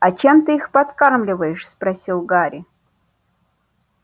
а чем ты их подкармливаешь спросил гарри